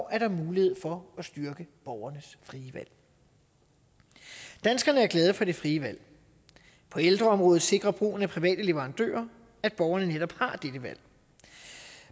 er mulighed for at styrke borgernes frie valg danskerne er glade for det frie valg på ældreområdet sikrer brugen af private leverandører at borgerne netop har dette valg